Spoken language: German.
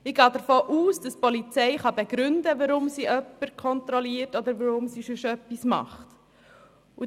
Ich gehe davon aus, dass die Polizei begründen kann, weshalb sie jemanden kontrolliert oder etwas tut.